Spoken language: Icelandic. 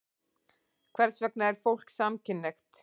Hvers vegna er fólk samkynhneigt?